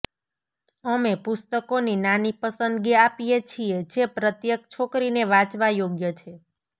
અમે પુસ્તકોની નાની પસંદગી આપીએ છીએ જે પ્રત્યેક છોકરીને વાંચવા યોગ્ય છે